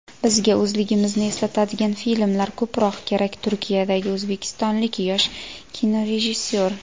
"Bizga o‘zligimizni eslatadigan filmlar ko‘proq kerak" — Turkiyadagi o‘zbekistonlik yosh kinorejissyor.